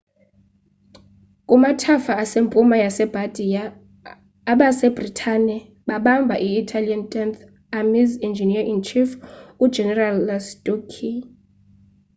kumathafa asempuma yase bardia abase britane babamba i-italian tenth army's engineer-in-chief u-general lastucci